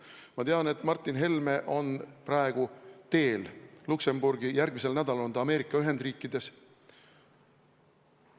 Ma tean, et Martin Helme on praegu teel Luksemburgi, järgmisel nädalal on ta Ameerika Ühendriikides.